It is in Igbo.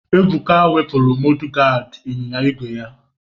Ebuka wepụrụ Modugadi ịnyịnya ígwè ya.